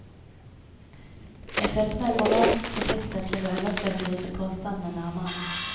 Jeg følte meg moralsk forpliktet til å undersøke disse påstandene nærmere.